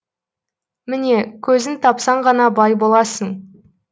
міне көзін тапсан ғана бай боласың